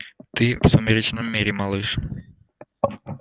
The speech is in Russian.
ты в сумеречном мире малыш